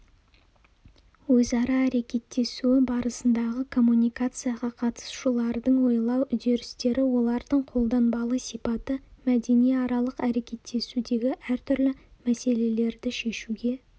өзара әрекеттесуі барысындағы коммуникацияға қатысушылардың ойлау үдерістері олардың қолданбалы сипаты мәдениаралық әрекеттесудегі әртүрлі мәселелерді шешуге